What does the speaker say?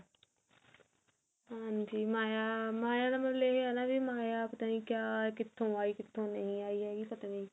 ਹਾਂਜੀ ਮਾਇਆ ਤਾਂ ਮਤਲਬ ਇਹ ਹੈ ਮਾਇਆ ਪਤਾ ਨੀ ਕਿਆ ਕਿਥੋਂ ਆਈ ਕਿੱਤੋਂ ਨਹੀ ਆਈ ਹੈਗੀ ਪਤਾ ਨੀ